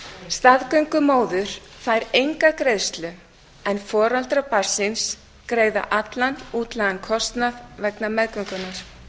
staðgöngumóðir fær enga greiðslu en foreldrar barnsins greiða allan útlagðan kostnað vegna meðgöngunnar